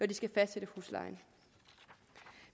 de skal fastsætte huslejen